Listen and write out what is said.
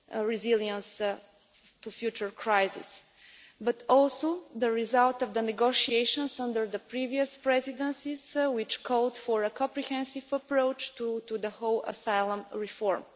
resilience to future crises, but also the results of the negotiations under the previous Presidencies, which called for a comprehensive approach to the whole area of asylum reform.